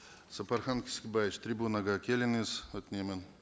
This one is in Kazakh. сапархан кесікбаевич трибунаға келіңіз өтінемін